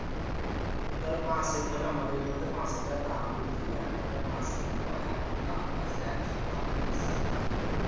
এই ধর বাঁশে ধর আমাদের এপারে তো বাঁশের যা দাম বুঝলি এখন তো আর বাঁশ কিনা লই এত্ত্ব দাম বাঁশের একশো টাকা piece বুঝলি?